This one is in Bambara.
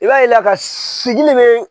I b'a yela ka sigilen bɛ.